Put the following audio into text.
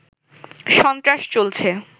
সন্ত্রাস চলছে